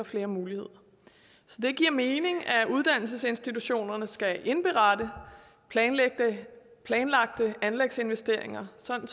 flere muligheder så det giver mening at uddannelsesinstitutionerne skal indberette planlagte planlagte anlægsinvesteringer sådan